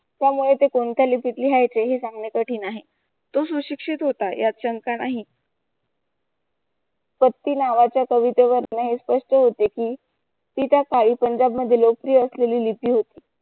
त्यामुळे ते कोणत्या लिपिती लिहायचे हे सांगण्यासाठी नाही. तो सुशिक्षित होता यांच्यात काही शंका नाही पट्टी नावाच्या कवितेवर तिला हे स्पष्ट होते कि ती त्या स्थायी पंजाब मध्ये लोकप्रिय असलेली लिपी होती.